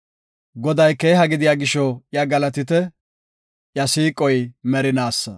Goday keeha gidiya gisho iya galatite; iya siiqoy merinaasa.